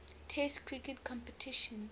test cricket competitions